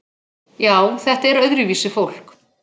Já, þetta er öðruvísi fólk.